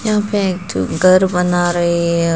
यहां पे एक ठो घर बना रहे है।